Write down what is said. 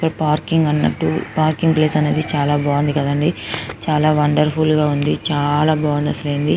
అన్నట్టు parking place చాల బాగుంది కదండీ చాల వండర్ఫుల్ గ ఉంది చాల బాగుంది అసలు--